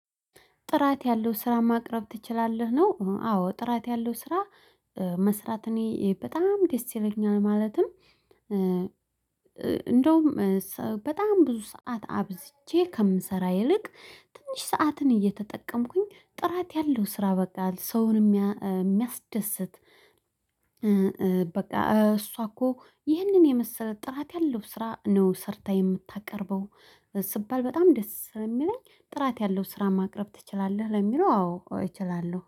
ጥራት ያለው ስራ ማቅረብ ትችላለህ ነው? አዎ ጥራት ያለው ስራ መስራት እኔ በጣም ደስ ይለኛል ማለትም። እንደውም በጣም ብዙ ሰዓት አብዝቼ ከምሰራ ይልቅ ትንሽ ሰዓትን እየተጠቀምኩኝ ጥራት ያለው ስራ በቃ ሰውን የሚያስደስት። በቃ እሷ እኮ ይህንን የመሰለ ጥራት ያለው ስራ ነው ሰርታ የምታቀርበው። ስባል በጣም ደስ የሚለኝ ጥራት ያለው ስራ ማቅረብ ትችላለህ ለሚለው አዎ እችላለሁ